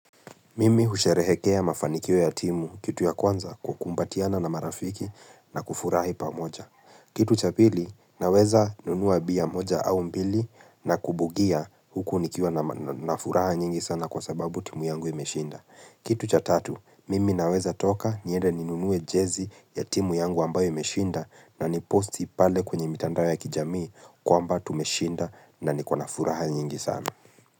Mimi husherehekea mafanikio ya timu kitu ya kwanza kukumbatiana na marafiki na kufurahi pamoja. Kitu cha pili, naweza nunua bia moja au mbili na kubugia huku nikiwa na furaha nyingi sana kwa sababu timu yangu imeshinda. Kitu cha tatu, mimi naweza toka niende ninunue jezi ya timu yangu ambayo imeshinda na niposti pale kwenye mitandao ya kijamii kwamba tumeshinda na niko na furaha nyingi sana.